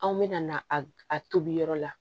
Anw bɛna na a tobi yɔrɔ la